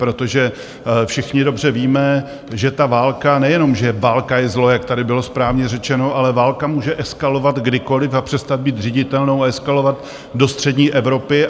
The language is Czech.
Protože všichni dobře víme, že ta válka, nejenom že válka je zlo, jak tady bylo správně řečeno, ale válka může eskalovat kdykoliv a přestat být řiditelnou a eskalovat do střední Evropy.